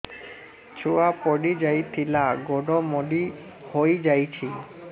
ଛୁଆ ପଡିଯାଇଥିଲା ଗୋଡ ମୋଡ଼ି ହୋଇଯାଇଛି